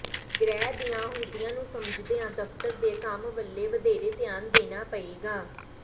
ਗ੍ਰਹਿ ਦੀਆਂ ਅਹੁਦਿਆਂ ਨੂੰ ਸਮਝਦਿਆਂ ਦਫ਼ਤਰ ਦੇ ਕੰਮ ਵੱਲ ਵਧੇਰੇ ਧਿਆਨ ਦੇਣਾ ਪਏਗਾ